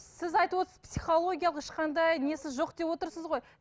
сіз айтып отырсыз психологиялық ешқандай несі жоқ деп отырсыз ғой